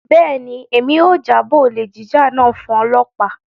Bẹ́ẹ̀ni, Emi yóò jabọo olè jíjà náà fun ọlọpa.